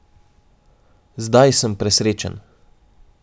Zdaj sem presrečen.